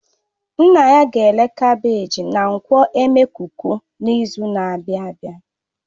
His father will sell his carbagges at ngwo emekuku next week